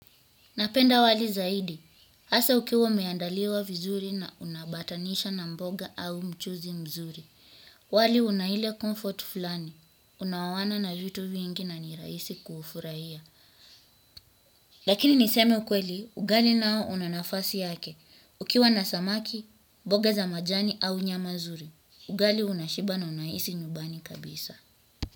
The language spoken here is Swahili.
Napenda wali zaidi, hasa ukiwa umeandaliwa vizuri na una ambatanisha na mboga au mchuzi mzuri. Wali una ile comfort fulani, unaoana na vitu vingi na nirahisi kuu furahia. Lakini niseme ukweli, ugali nao una nafasi yake. Ukiwa na samaki, mboga za majani au nyama nzuri ugali unashiba na unahisi nyumbani kabisa.